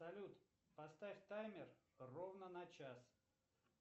салют поставь таймер ровно на час